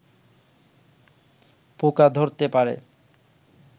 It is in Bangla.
পোকা ধরতে পারে